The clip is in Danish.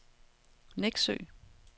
Nexø